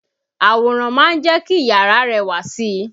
Àwòrán ma ń jẹ́ kí iyàrá rẹwà si.